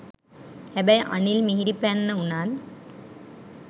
හැබැයි අනිල් මිහිරිපැන්න උනත්